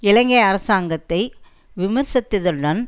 இலங்கை அரசாங்கத்தை விமர்சித்ததுடன்